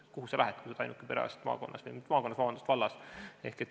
Kuhu sa lähed, kui sa oled vallas ainuke perearst?